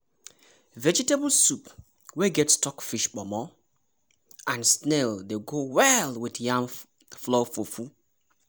vegetable soup wey get stockfish pomo and snail dey go well with yam flour fufu.